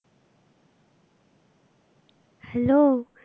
Hello